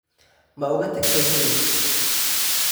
Ma uga tagtay guriga?